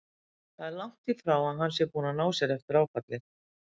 Það er langt í frá að hann sé búinn að ná sér eftir áfallið.